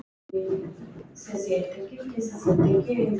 Blakar vængjum sínum yfir mér.